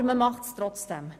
Aber man macht es trotzdem.